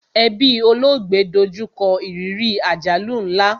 Ẹbí olóògbé do jú kọ ìrírí àjálù nla